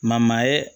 Ma maa ye